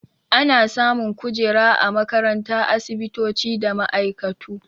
Ana samun kujera a makarantu, asibitoci da ma'aikatu.